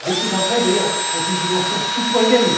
Beaucoup d'entre elles, d'ailleurs, ont une dimension citoyenne